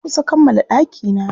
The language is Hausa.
Na kusa kammala ɗakina.